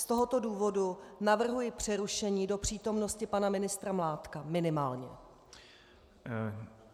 Z tohoto důvodu navrhuji přerušení do přítomnosti pana ministra Mládka, minimálně.